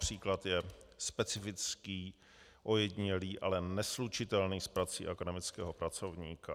Případ je specifický, ojedinělý, ale neslučitelný s prací akademického pracovníka.